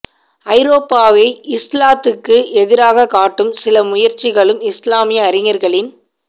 ஐரோப்பாவை இஸ்லாத்துக்கு எதிராகக் காட்டும் சில முயற்சிக ளும் இஸ்லாமிய அறிஞர்களின்